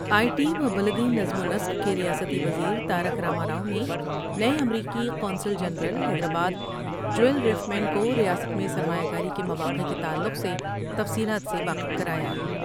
آئی T و بلدی نظم ونسق کے ریاستی وزیر تارک راما راؤ نے نئے امریکی قونصل general Hyderabad Joel Reifman کور یاست میں سرمایہ کاری کے مواقع کے تعلق سے تفصیلات سے واقف کرایا ۔